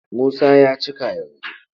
Musa ya cika yanzu.